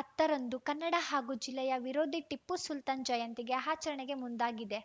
ಹತ್ತರಂದು ಕನ್ನಡ ಹಾಗೂ ಜಿಲ್ಲೆಯ ವಿರೋಧಿ ಟಿಪ್ಪು ಸುಲ್ತಾನ್‌ ಜಯಂತಿ ಆಚರಣೆಗೆ ಮುಂದಾಗಿದೆ